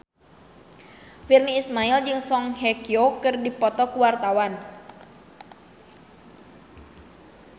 Virnie Ismail jeung Song Hye Kyo keur dipoto ku wartawan